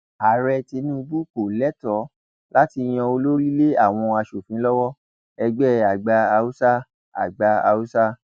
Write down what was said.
ààrẹ tinubu kò lẹtọọ láti yan olórí lé àwọn aṣòfin lọwọ ẹgbẹ àgbà haúsá àgbà haúsá